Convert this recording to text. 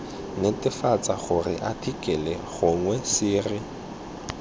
netefatsa gore athikele gongwe sere